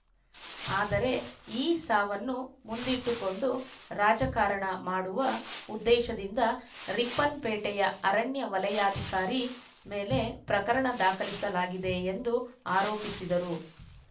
ಆದರೆ ಈ ಸಾವನ್ನು ಮುಂದಿಟ್ಟುಕೊಂಡು ರಾಜಕಾರಣ ಮಾಡುವ ಉದ್ದೇಶದಿಂದ ರಿಪ್ಪನ್‌ಪೇಟೆಯ ಅರಣ್ಯ ವಲಯಾಧಿಕಾರಿ ಮೇಲೆ ಪ್ರಕರಣ ದಾಖಲಿಸಲಾಗಿದೆ ಎಂದು ಆರೋಪಿಸಿದರು